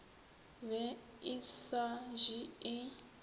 be e sa je e